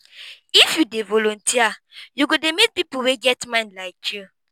if you dey voluteer you go dey meet pipu wey get mind like you.